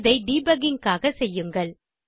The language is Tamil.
இதை டிபக்கிங் க்காக செய்யுங்கள்